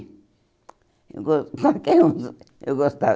Eu gos qualquer um eu gostava